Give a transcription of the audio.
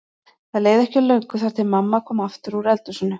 Það leið ekki á löngu þar til mamma kom aftur úr eldhúsinu.